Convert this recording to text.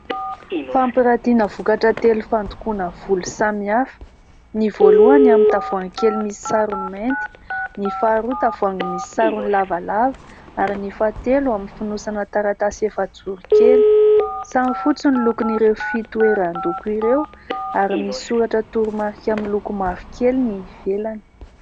Fampirantiana vokatra telo fandokoana volo samihafa. Ny voalohany amin'ny tavoahangy kely misy sarony mainty, ny faharoa tavoahangy misy sarony lavalava ary ny fahatelo amin'ny fonosana taratasy efajoro kely. Samy fotsy ny lokon'ireo fitoeran-doko ireo ary misy soratra toromarika miloko mavokely ny ivelany.